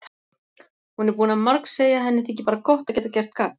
Hún er búin að margsegja að henni þyki bara gott að geta gert gagn.